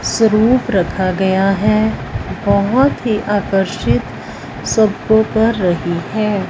स्वरूप रखा गया है बहोत ही आकर्षित सबको कर रही है।